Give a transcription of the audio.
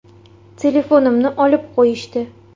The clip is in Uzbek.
Telefonimni olib qo‘yishdi.